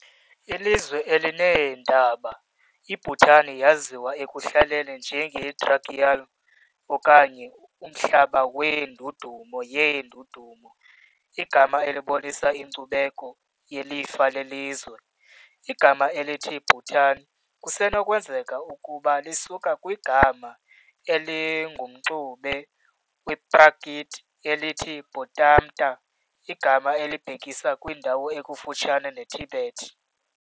Ilizwe elineentaba, iBhutan yaziwa ekuhlaleni njenge "Druk Yul" okanye "Umhlaba weNdudumo yeNdudumo", igama elibonisa inkcubeko yelifa lelizwe. Igama elithi Bhutan kusenokwenzeka ukuba lisuka kwigama elingumxube wePrakrit elithi Bhŏṭṭaṃta, igama elibhekisa kwindawo ekufutshane neTibet.